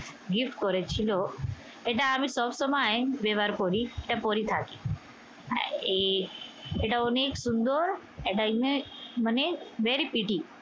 gift করেছিল। এটা আমি সবসময় ব্যবহার করি। এটা পড়ে থাকি। আহ এটা অনেক সুন্দর। এটা image মানে very pretty